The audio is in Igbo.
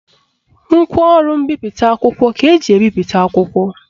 Ngwaọrụ mbipụta akwụkwọ ka eji ebipụta akwụkwọ